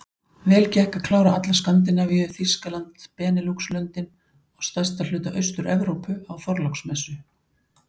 Vel gekk að klára alla Skandinavíu, Þýskaland, Beneluxlöndin og stærsta hluta AusturEvrópu á Þorláksmessu.